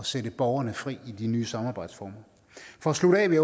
sætte borgerne fri i de nye samarbejdsformer for at slutte af vil